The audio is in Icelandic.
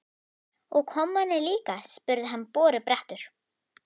Og kommarnir líka? spurði hann borubrattur.